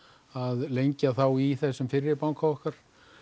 að lengja þá í þessum fyrri banka okkar